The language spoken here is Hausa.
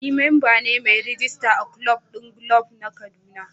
Ni memba ne mai rijista a kulob din golf na kaduna